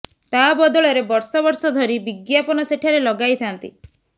ତା ବଦଳରେ ବର୍ଷ ବର୍ଷ ଧରି ବିଜ୍ଞାପନ ସେଠାରେ ଲଗାଇଥାନ୍ତି